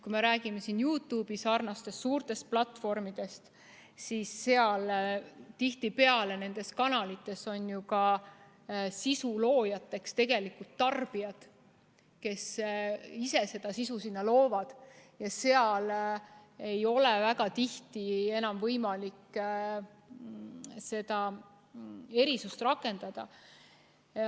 Kui me räägime YouTube'i-sarnastest suurtest platvormidest, siis nendes kanalites on tihtipeale ju sisuloojateks tarbijad, kes ise seda sisu sinna loovad, ja seal ei ole väga tihti enam võimalik seda erisust rakendada.